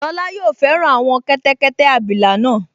Lọla yóò fẹ́ràn àwọn kẹ́tẹ́kẹ́tẹ́ abilà náà